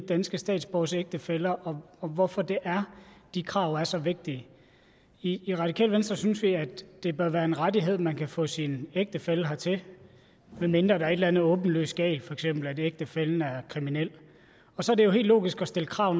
danske statsborgeres ægtefæller og hvorfor det er de krav er så vigtige i radikale venstre synes vi at det bør være en rettighed at man kan få sin ægtefælle hertil medmindre der er et eller andet åbenlyst galt for eksempel at ægtefællen er kriminel og så er det jo helt logisk at stille krav